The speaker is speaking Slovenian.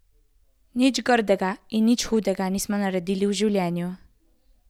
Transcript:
Nič grdega in nič hudega nismo naredili v življenju.